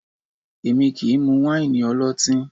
Èmi kì í mú wáìnì ọlọ́tín